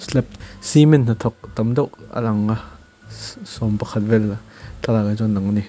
tlap cement hnathawk tam deuh a lang a sawmpakhat vel thlalakah hi chuan a lang a ni.